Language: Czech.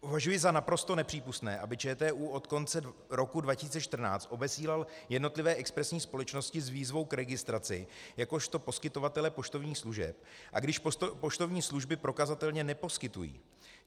Považuji za naprosto nepřípustné, aby ČTÚ od konce roku 2014 obesílal jednotlivé expresní společnosti s výzvou k registraci jakožto poskytovatele poštovních služeb, i když poštovní služby prokazatelně neposkytují.